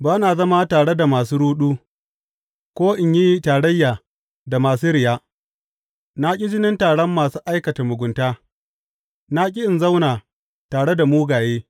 Ba na zama tare da masu ruɗu, ko in yi tarayya da masu riya; na ƙi jinin taron masu aikata mugunta na ƙi in zauna tare da mugaye.